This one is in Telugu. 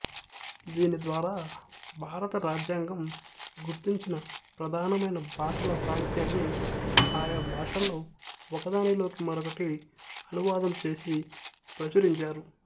దీని ద్వారా భారత రాజ్యాంగం గుర్తించిన ప్రధానమైన భాషల సాహిత్యాన్ని ఆయా భాషల్లో ఒకదానిలోకి మరొకటి అనువాదం చేసి ప్రచురించారు